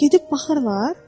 Gedib baxırlar?